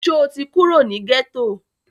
Sọ ti kúrò ní gẹ́tọ̀?